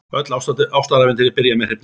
Öll ástarævintýri byrja með hrifningu.